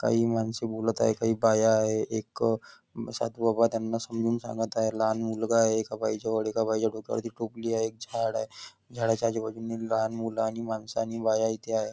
काही माणसे बोलत आहे काही बाया आहे एक साधु बाबा त्यांना समजावून सांगत आहेत लहान मुलगा आहे एका बाई जवळ आणि एका बाई जवळ डोक्यावरती टोपली आहे एक झाड आहे झाडाच्या आजू बाजूला लहान मुले आणि माणसे आणि बाया इथे आहेत.